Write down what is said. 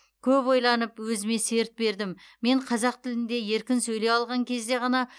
көп ойланып өзіме серт бердім мен қазақ тілінде еркін сөйлей алған кезде ғана